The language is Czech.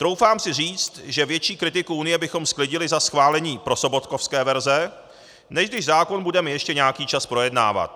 Troufám si říci, že větší kritiku Unie bychom sklidili za schválení prosobotkovské verze, než když zákon budeme ještě nějaký čas projednávat.